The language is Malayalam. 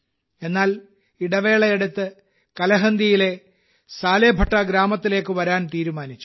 എന്നാൽ ഇടവേളയെടുത്ത് കലഹന്ദിയിലെ സാലേഭട്ട ഗ്രാമത്തിലേക്ക് വരാൻ തീരുമാനിച്ചു